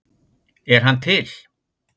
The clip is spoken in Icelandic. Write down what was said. Er hann til?